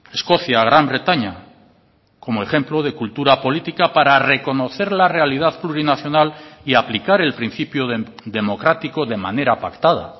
escocia gran bretaña como ejemplo de cultura política para reconocer la realidad plurinacional y aplicar el principio democrático de manera pactada